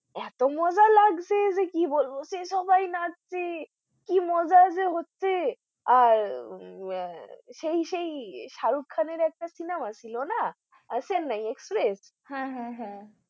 এতো মজা লাগছে যে কি বলবো যে সবাই নাচছে, কি মজা যে হচ্ছে আর সেই সেই শাহরুখ খান এর একটা cinema ছিল না chennai express হ্যাঁ হ্যাঁ হ্যাঁ